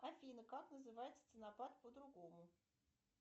афина как называется ценопад по другому